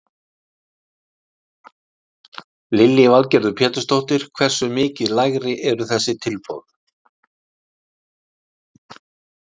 Lillý Valgerður Pétursdóttir: Hversu mikið lægri eru þessi tilboð?